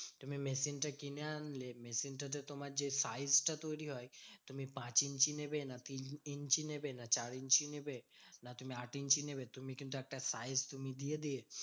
তুমি machine টা কিনে আনলে। machine টা তে তোমার যে size টা তৈরী হয়, তুমি পাঁচ ইঞ্চি নেবে না তিন ইঞ্চি নেবে না চার ইঞ্চি নেবে না তুমি আট ইঞ্চি নেবে তুমি কিন্তু একটা size তুমি দিয়ে দিয়ে